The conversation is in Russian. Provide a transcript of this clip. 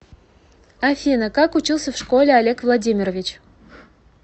афина как учился в школе олег владимирович